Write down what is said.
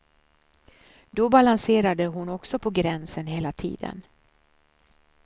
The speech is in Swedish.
Då balanserade hon också på gränsen hela tiden.